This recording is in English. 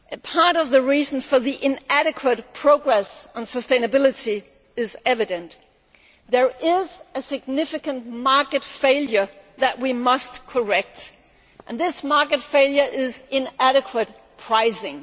Part of the reason for the inadequate progress on sustainability is evident there is a significant market failure that we must correct, namely inadequate pricing.